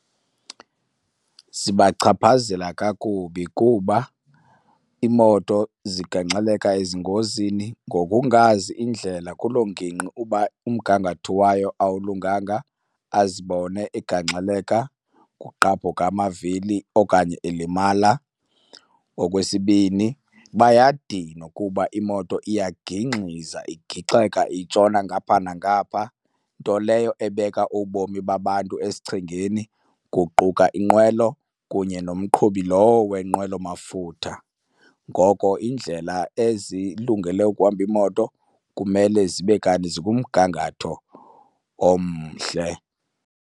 Zibachaphazela kakubi kuba iimoto zigangxeleka ezingozini. Ngokungazi indlela kuloo ngingqi uba umgangatho wayo awulunganga azibone egangxeleka, kugqabhuka amavili okanye elimala. Okwesibini bayadinwa kuba imoto iyagingxiza igixeka itshona ngapha nangapha, nto leyo ebeka ubomi babantu esichengeni kuquka inqwelo kunye nomqhubi lowo wenqwelo mafutha. Ngoko indlela ezilungele ukuhamba iimoto kumele zibe kanti zikumgangatho omhle.